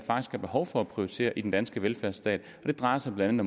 er behov for at prioritere i den danske velfærdsstat det drejer sig blandt